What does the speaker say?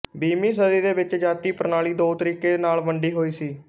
ਵੀਹਵੀਂ ਸਦੀ ਦੇ ਵਿੱਚ ਜਾਤੀ ਪ੍ਰਣਾਲੀ ਦੋ ਤਰੀਕੇ ਨਾਲ ਵੰਡੀ ਹੋਈ ਸੀ